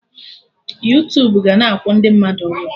Yuutubu ga-na akwụ ndị mmadụ ụgwọ